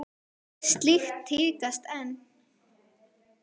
Slíkt tíðkast enn.